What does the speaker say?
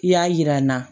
I y'a yira n na